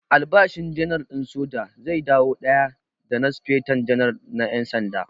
Albashin Janar din soja zai dawo daya da na Speta Janar na ƴan sanda.